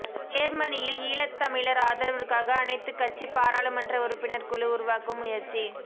யேர்மனியில் ஈழத்தமிழர் ஆதரவுக்காக அனைத்துக்கட்சி பாராளுமன்ற உறுப்பினர் குழு உருவாக்கும் முயற்சி